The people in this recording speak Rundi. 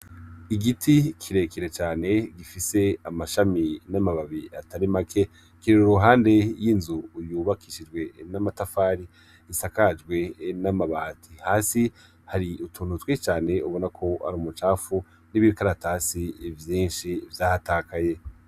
Igiti kirekire cane gifise amashami n'amababi atari make kirera uruhande y'inzu uyubakishijwe n'amatafari isakajwe n'amabati hasi hari utunutwi cane ubona ko ari umucafu n'ibikaratasi vyinshi vyahatakaye.